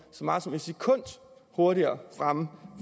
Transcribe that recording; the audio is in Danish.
så meget som en sekund hurtigere fremme på